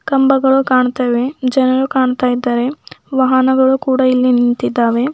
ಕಂಬಗಳು ಕಾಣ್ತಾವೆ ಜನರು ಕಾಣ್ತಾ ಇದಾರೆ ವಾಹನಗಳು ಕೂಡ ಇಲ್ಲಿ ನಿಂತಿದ್ದಾವೆ.